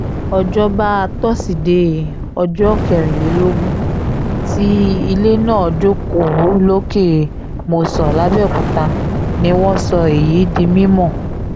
òjọba tosidee ọjọ́ kẹrìnlélógún tí ilé náà jókòó lọ́kẹ́ mòsàn làbẹ́ọ̀kúta ni wọ́n sọ èyí di mímọ́